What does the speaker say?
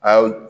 Ayi